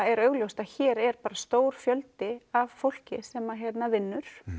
er augljóst að hér er stór fjöldi af fólki sem vinnur